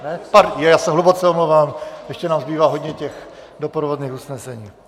Já se hluboce omlouvám, ještě nám zbývá hodně těch doprovodných usnesení.